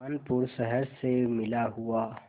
कानपुर शहर से मिला हुआ